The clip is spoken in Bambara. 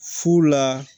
Fu la